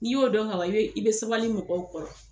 N'i y'o dɔn ka ban i be sabali mɔgɔw kɔrɔ.